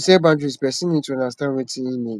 to set boundries person need to understand wetin im need